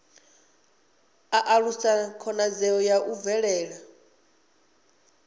alusa khonadzeo ya u bvela